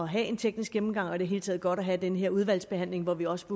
have en teknisk gennemgang og det hele taget godt at have den her udvalgsbehandling hvor vi også